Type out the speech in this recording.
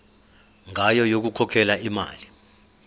ngayo yokukhokhela imali